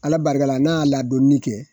Ala barikala n'a y'a ladonni kɛ.